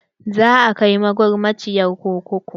Za a kai magulmaciyar kurkuku.